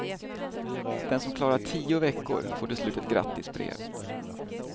Den som klarar tio veckor får till slut ett grattisbrev.